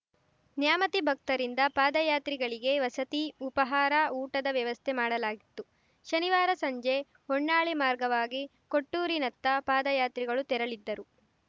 ನ್ಯಾಮತಿಭಕ್ತರಿಂದ ಪಾದಯಾತ್ರಿಗಳಿಗೆ ವಸತಿ ಉಪಹಾರ ಊಟದ ವ್ಯವಸ್ಥೆ ಮಾಡಲಾಗಿತ್ತು ಶನಿವಾರಸಂಜೆ ಹೊನ್ನಾಳಿ ಮಾರ್ಗವಾಗಿ ಕೊಟ್ಟೂರಿನತ್ತ ಪಾದಯಾತ್ರಿಗಳು ತೆರಳಿದ್ದರು